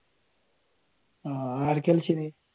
ആഹ് ആരൊക്കെയായിരുന്നു ?